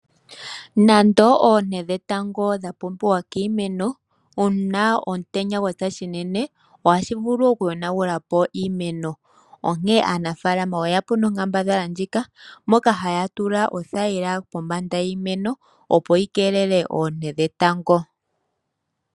Nande oonte dhetango odha pumbiwa kiimeno, uuna omutenya gwapya shinene ohashi vulu oku yonagula po iimeno. Onkene aanafalama oyeya po nonkambadhala moka haya tula othayila kombanda yiimeno opo yi keelele oonte dhetango.